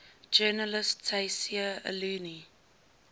journalist tayseer allouni